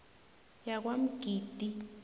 yakwamgidi